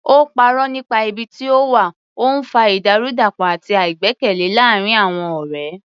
Ó parọ́ nípa ibi tí ó wà, ó ń fa ìdàrúdàpọ̀ àti àìgbẹ́kẹ̀lé láàárín àwọn ọ̀rẹ́.